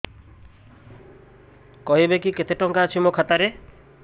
କହିବେକି କେତେ ଟଙ୍କା ଅଛି ମୋ ଖାତା ରେ